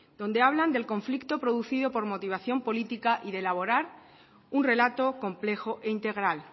donde hablan del conflicto producido por motivación política y de elaborar un relato complejo e integral